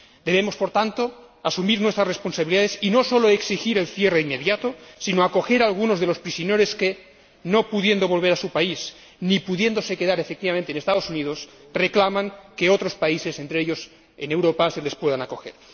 Debemos, por tanto, asumir nuestras responsabilidades y no sólo exigir el cierre inmediato sino acoger también a algunos de los prisioneros que, no pudiendo volver a su país ni pudiéndose quedar, efectivamente, en los Estados Unidos, reclaman que otros países, entre ellos países europeos, les puedan acoger.